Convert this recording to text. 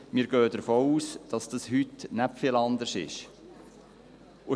Wir gehen davon aus, dass es sich heute nicht viel anders verhält.